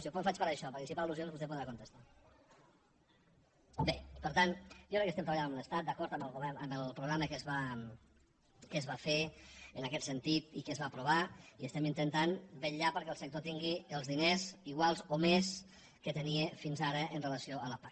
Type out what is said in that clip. jo ho faig per això perquè així per al·bé per tant jo crec que estem treballant amb l’estat d’acord amb el programa que es va fer en aquest sentit i que es va aprovar i estem intentant vetllar perquè el sector tingui els diners iguals o més que tenia fins ara amb relació a la pac